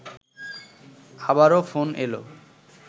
আবারও ফোন এলো